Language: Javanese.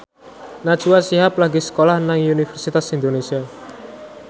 Najwa Shihab lagi sekolah nang Universitas Indonesia